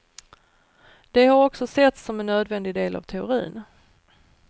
De har också setts som en nödvändig del av teorin.